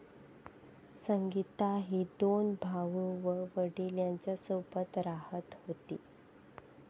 संगीता ही दोन भाऊ व वडील यांच्यासोबत राहत होती.